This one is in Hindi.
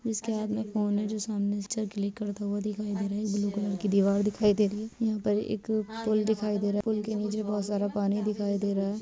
इशके हाथ में फ़ोन है जो सामने पिक्चर क्लिक करता हुआ दिखाई दे रहा है ब्लू कलर की दिवार दिखाई दे रही है यहाँ पर एक अ पुल दिखाई दे रहा पुल के निचे बहुत सारा पानी दिखाई दे रहा हैं।